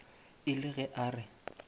e le ge a re